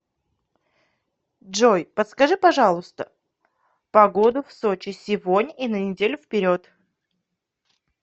джой подскажи пожалуйста погоду в сочи сегодня и на неделю вперед